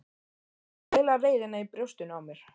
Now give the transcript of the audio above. Til að kæla reiðina í brjóstinu á mér.